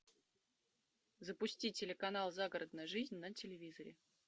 запусти телеканал загородная жизнь на телевизоре